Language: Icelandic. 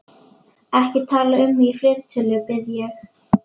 Ekki tala um mig í fleirtölu, bið ég.